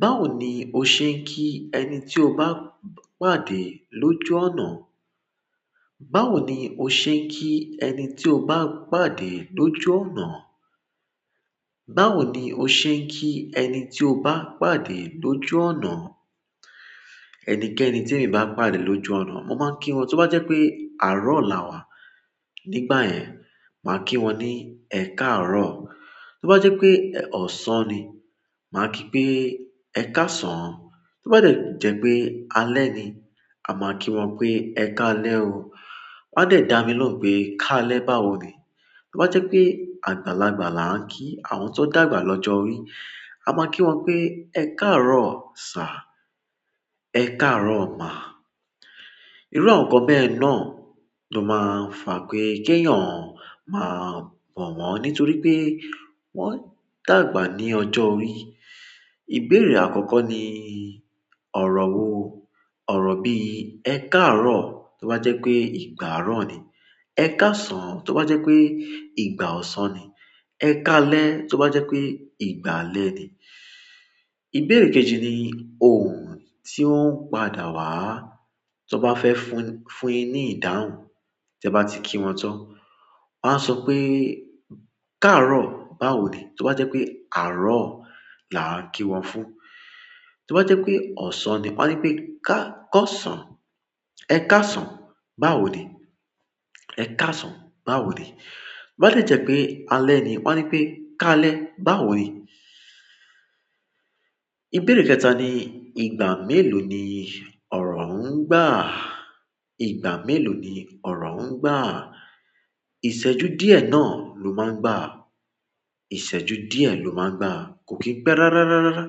Báwo ni o ṣe ń kí ẹni tí o bá pàdé lójú ọ̀nà? Báwo ni o ṣe ń kí ẹni tí o bá pàdé lójú ọ̀nà? Báwo ni o ṣe ń kí ẹni tí o bá pàdé lójú ọ̀nà? Ẹnikẹ́ni tí èmi bá pàdé lójú ọ̀nà, mo máa ń kí wọn. Tó bá jẹ́ pé àárọ̀ là wàá, nígbà yẹn máà kí wọn ní "Ẹ káàárọ̀". Tó bá jẹ́ pé ọ̀sán ni, màá kí pé, "Ẹ káàsán". Tó bá dẹ jẹ́ pé alẹ́ ni, a máa kí wọn pé, "Ẹ káalẹ́ o". Wọn a dẹ̀ dá mi lóhùn pé, "Ká lẹ́ báwo ni?" Tó bá jẹ́ pé àgbàlagbà là ń kí àwọn tó dàgbà lọ́jọ́ orí, à máa kí wọn pé, "Ẹ káàárọ̀ sà, ẹ káàárọ̀ ma". Irú àwọn nǹkan bẹ́ẹ̀ náà ló máa ń fà pé kẹ́yọn máa bọ̀ wọ́n, nítorí pé wọ́n dàgbà ní ọjọ́ orí. Ìbéèrè àkọ́kọ́ ni ọ̀rọ̀ wò. Ọ̀rọ̀ bíi "Ẹ káàárọ̀" tó bá jẹ́ pé ìgbà àárọ̀ ni. "Ẹ káàsán" tó bá jẹ́ pé ìgbà ọ̀sán ni. "Ẹ káalẹ́" tó bá jẹ́ pé ìgbà alẹ́ ni. Ìbéèrè kejì ni òhùn tí ó ń pàdà wá, tí wọ́n bá fẹ́ fún- fún ẹ ní ìdáhùn tí ẹ bá ti kí wọn tán. Wọ́n á sọ pé, "Káàárọ̀ báwò ni?" Tó bá jẹ́ pé àárọ̀ là ń kí wọn fún. Tò bàà jẹ pè ọsàn nì wọn à nì pè kà ọsàn, ẹkààsàn, bàwò nìì. "Ẹ káàsán báwo ni?" Tó bá dẹ jẹ́ pé alẹ́ ni, wọ́n á ní pé, "Káalẹ́ báwò ni?" Ìbéèrè kẹta ni ìgbà mélòó ni ọ̀rọ̀ ń gbà? Ìgbà mélòó ni ọ̀rọ̀ ń gbà? Ìṣẹ́jú díẹ̀ náà ló máa ń gbà. Ìṣẹ́jú díẹ̀ ló máa ń gbà. Kò kí ń pẹ́ rárá, rárá, rárá.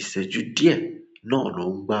Ìṣẹ́jú díẹ̀ náà ló ń gbà.